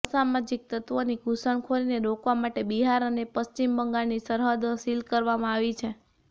અસામાજિક તત્વોની ઘુસણખોરીને રોકવા માટે બિહાર અને પશ્ચિમ બંગાળની સરહદો સીલ કરવામાં આવી છે